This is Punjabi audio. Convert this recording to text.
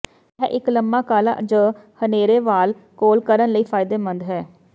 ਇਹ ਇੱਕ ਲੰਮਾ ਕਾਲਾ ਜ ਹਨੇਰੇ ਵਾਲ ਕੋਲ ਕਰਨ ਲਈ ਫਾਇਦੇਮੰਦ ਹੈ